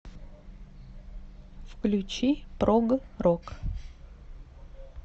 включи прог рок